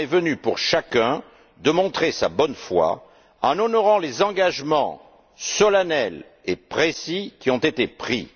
Le moment est venu pour chacun de montrer sa bonne foi en honorant les engagements solennels et précis qui ont été pris.